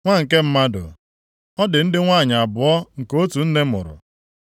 “Nwa nke mmadụ, ọ dị ndị inyom abụọ nke otu nne mụrụ.